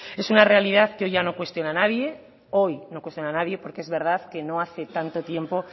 es una realidad que hoy ya no cuestiona nadie hoy no cuestiona nadie porque es verdad que no hace tanto tiempo